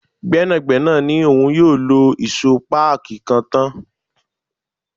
Gbẹ́nàgbẹ́nà ni òun yóò lọ ìṣó páàkí kan tán.